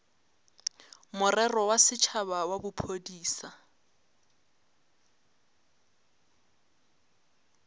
morero wa setšhaba wa bophodisa